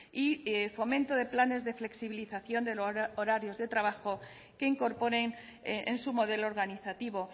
y fomento de planes de flexibilización del horario de trabajo que incorporen en su modelo organizativo